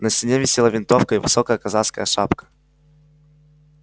на стене висела винтовка и высокая казацкая шапка